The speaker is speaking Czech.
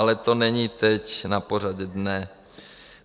Ale to není teď na pořadu dne.